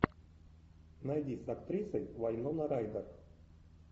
найди с актрисой вайнона райдер